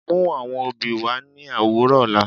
Mú àwọn obì wà ní òwùrọ̀ òlà.